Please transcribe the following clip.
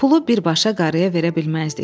Pulu birbaşa qarıya verə bilməzdik.